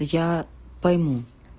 я пойму